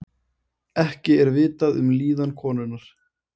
Ekki er vitað um líðan konunnar